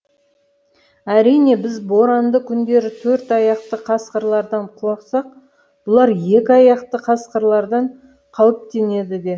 әрине біз боранды күндері төрт аяқты қасқырлардан қорықсақ бұлар екі аяқты қасқырлардан қауіптенеді де